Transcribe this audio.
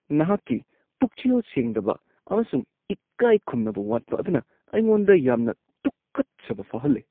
ꯅꯍꯥꯛꯀꯤ ꯄꯨꯛꯆꯦꯜ ꯁꯦꯡꯗꯕ ꯑꯃꯁꯨꯡ ꯏꯀꯥꯏꯈꯨꯝꯅꯕ ꯋꯥꯠꯄ ꯑꯗꯨꯅ ꯑꯩꯉꯣꯟꯗ ꯌꯥꯝꯅ ꯇꯨꯀꯠꯆꯕ ꯐꯥꯎꯍꯜꯂꯦ꯫